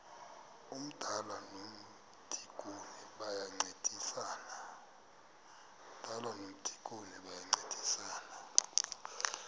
umdala nomdikoni bayancedisana